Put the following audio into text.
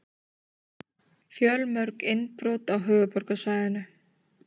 Fjölmörg innbrot á höfuðborgarsvæðinu